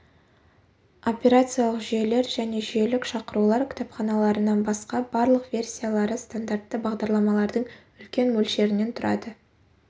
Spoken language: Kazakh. операциялық жүйелер және жүйелік шақырулар кітапханаларынан басқа барлық версиялары стандартты бағдарламалардың үлкен мөлшерінен тұрады